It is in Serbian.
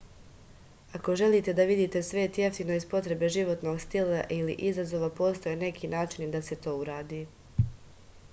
ako želite da vidite svet jeftino iz potrebe životnog stila ili izazova postoje neki načini da se to uradi